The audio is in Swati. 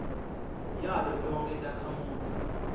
yato tonkhe takhamuti